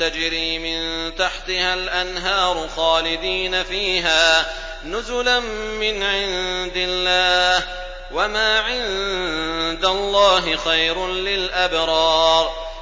تَجْرِي مِن تَحْتِهَا الْأَنْهَارُ خَالِدِينَ فِيهَا نُزُلًا مِّنْ عِندِ اللَّهِ ۗ وَمَا عِندَ اللَّهِ خَيْرٌ لِّلْأَبْرَارِ